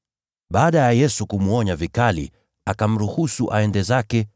Baada ya Yesu kumwonya vikali, akamruhusu aende zake